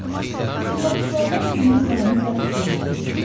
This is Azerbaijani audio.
İclasçılardan birinin qələmi bərk cırıldayırdı.